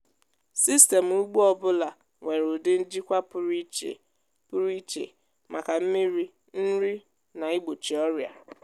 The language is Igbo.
sistemụ ugbo ọ bụla nwere ụdị njikwa pụrụ iche pụrụ iche maka mmiri nri na igbochi ọrịa.